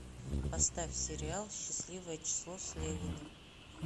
поставь сериал счастливое число слевина